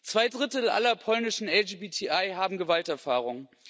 Zwei Drittel aller polnischen LGBTI haben Gewalterfahrung.